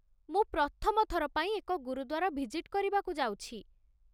ମୁଁ ପ୍ରଥମ ଥର ପାଇଁ ଏକ ଗୁରୁଦ୍ୱାର ଭିଜିଟ୍ କରିବାକୁ ଯାଉଛି।